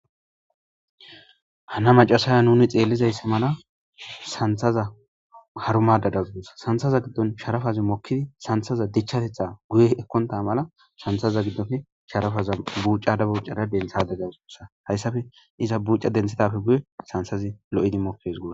Hana macasaya nuni xeellizayssa mala santhaza harumadadagudus santhaza giddon sharafazi mokkidi santhaza dichchatetha guye ekkonta mala shanthaza giddofe sharafaza buuca dabuucara denthade gaossa hayssafe iza buuca denthidapfe guye sansazi lo'idi mokkes goo.